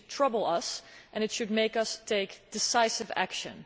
This should trouble us and should make us take decisive action.